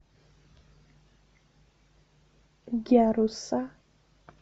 гяруса